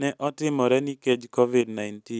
ne otimore nikech Covid-19.